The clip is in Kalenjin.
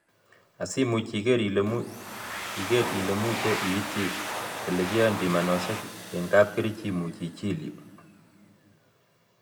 Asiimuch iker ele muche iityi ele kiyoen pimanosiek en kapkerich imuch ichil yu